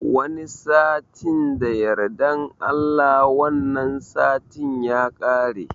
Wani satin da yardan Allah, wannan satin ya kare.